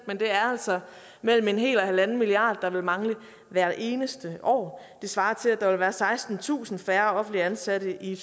men det er altså mellem en hel og halvanden milliard kroner der vil mangle hvert eneste år det svarer til at der vil være sekstentusind færre offentligt ansatte i